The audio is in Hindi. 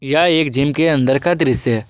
यह एक जिम के अंदर का दृश्य है।